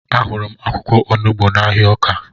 Ahụrụ m akwụkwọ onugbu n'ahịa Ọka